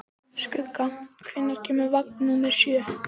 Skugga, hvenær kemur vagn númer sjö?